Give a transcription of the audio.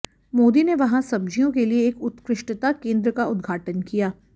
मोदी ने वहां सब्जियों के लिए एक उत्कृष्टता केंद्र का उद्घाटन किया